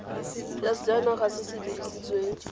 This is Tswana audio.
ya sejanaga se se dirisitsweng